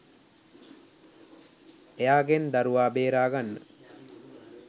එයාගෙන් දරුවා බේරාගන්න